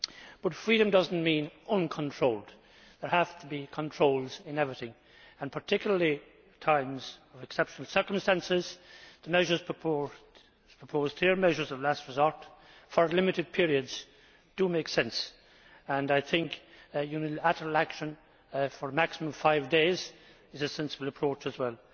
but freedom does not mean uncontrolled. There have to be controls in everything and particularly at times of exceptional circumstances, The measures proposed here, measures of last resort, for limited periods, do make sense and I think unilateral action for a maximum of five days is a sensible approach as well.